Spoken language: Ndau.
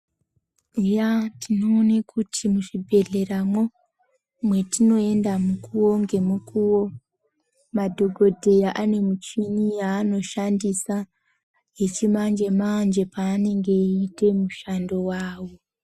Ya tinoona kuti muzvibhedhlera mwo matinoenda mukuwo nemukuwo madhokodheya ane michini yanoshandisa yechimanje manje panenge achiita mishando wawo.